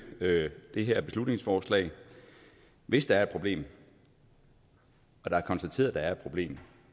det her beslutningsforslag hvis der er et problem og der er konstateret at der er et problem